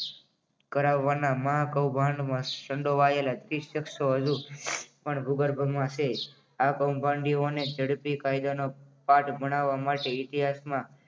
કરાવવાના મહા કૌભાંડમાં સંડોવાયેલા તીસ શખ્સો વધુ પણ ભૂગર્ભમાં છે. આ કૌભાંડીઓ અને ઝડપી કાયદાનો કાયદાનો પાઠ ભણાવવા માટે ઇતિહાસમાં